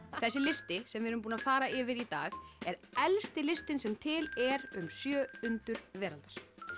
þessi listi sem við erum búin að fara yfir í dag er elsti listinn sem til er um sjö undur veraldar